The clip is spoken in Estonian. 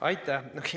Aitäh!